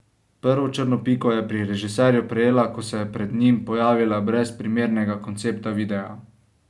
Prvo črno piko je pri režiserju prejela, ko se je pred njim pojavila brez primernega koncepta videa.